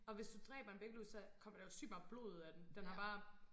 Og hvis du dræber en væggelus så kommer der jo sygt meget blod ud af den den har bare